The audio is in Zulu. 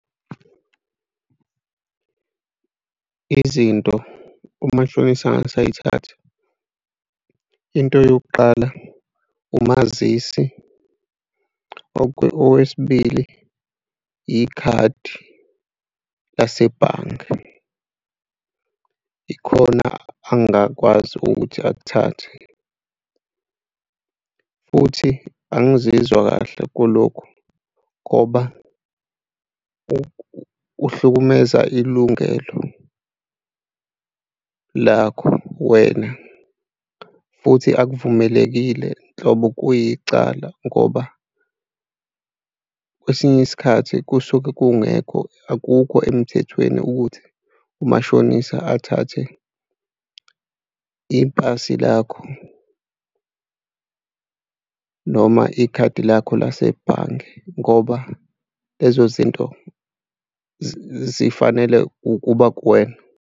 Izinto umashonisa angase ay'thathe into yokuqala umazisi. Okwesibili ikhadi lasebhange, ikhona angakwazi ukuthi akuthathe. Futhi angizizwa kahle kulokhu ngoba kuhlukumeza ilungelo lakho wena, futhi akuvumelekile nhlobo kuyicala ngoba kwesinye isikhathi kusuke kungekho akukho emthethweni ukuthi umashonisa athathe ipasi lakho noma ikhadi lakho lasebhange ngoba lezo zinto zifanele ukuba kuwena.